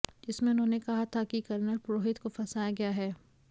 जिसमें उन्होंने कहा था कि कर्नल पुरोहित को फंसाया गया है